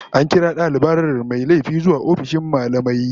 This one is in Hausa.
An kira dalibar mai laifi zuwa ofishin mallamai